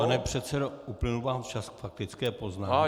Pane předsedo, uplynul vám čas k faktické poznámce.